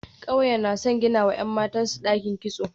Kauyen na son ginawa ‘yan matansu dakin kitso.